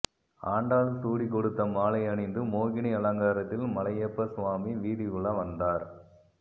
ஆண்டாள் சூடிக் கொடுத்த மாலை அணிந்து மோகினி அலங்காரத்தில் மலையப்ப சுவாமி வீதியுலா வந்தார்